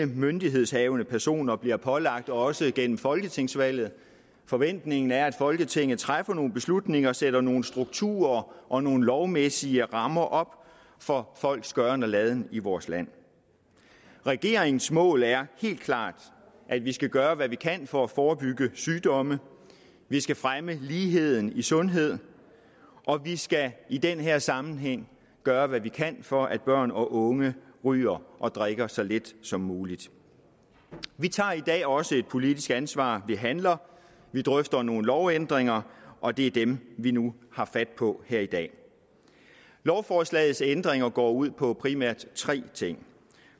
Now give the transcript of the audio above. myndighedshavende personer bliver pålagt også gennem folketingsvalget forventningen er at folketinget træffer nogle beslutninger sætter nogle strukturer og nogle lovmæssige rammer op for folks gøren og laden i vores land regeringens mål er helt klart at vi skal gøre hvad vi kan for at forebygge sygdomme vi skal fremme ligheden i sundhed og vi skal i den her sammenhæng gøre hvad vi kan for at børn og unge ryger og drikker så lidt som muligt vi tager i dag også et politisk ansvar vi handler vi drøfter nogle lovændringer og det er dem vi nu tager fat på her i dag lovforslagets ændringer går ud på primært tre ting